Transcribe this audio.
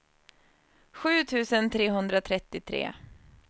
sju tusen trehundratrettiotre